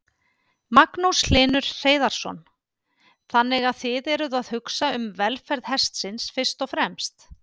Magnús Hlynur Hreiðarsson: Þannig að þið eruð að hugsa um velferð hestsins fyrst og fremst?